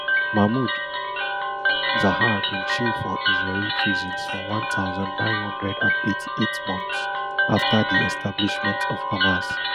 mahmoud zahar bin chill for israeli prisons for one thousand, nine hundred and eighty-eight months afta di establishment of hamas